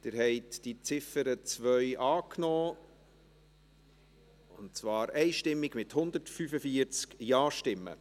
Sie haben die Ziffer 2 einstimmig angenommen, mit 145 Ja-Stimmen.